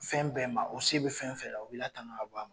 Fɛn bɛɛ ma o se bɛ fɛn fɛn la u b'i latanga ka bɔ a ma.